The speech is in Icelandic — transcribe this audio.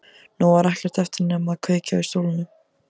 Nú var ekkert eftir nema að kveikja í stólnum.